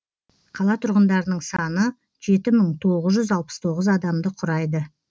қала тұрғындарының саны жеті мың тоғыз жүз алпыс тоғыз адамды құрайды